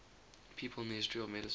people in the history of medicine